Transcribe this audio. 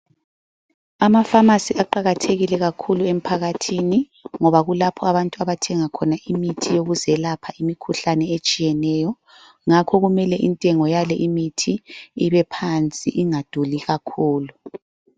Amafamasi aqakathekile kakhulu emphakathini ngoba kulapho abantu abathenga khona imithi yokuzelapha imikhuhlane etshiyeneyo. Ngakho kumele intengo yalimithi ibephansi ingaduli kakhulu.